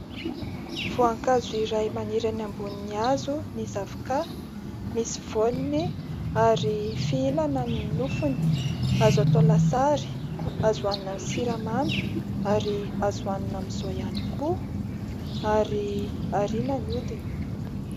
Voankazo iray maniry any ambonin'ny hazo ny zavoka. Misy voniny ary fihinana ny nofony, azo atao lasary, azo hoanina amin'ny siramamy ary azo hoanina amizao ihany koa, ary ariana ny hodiny.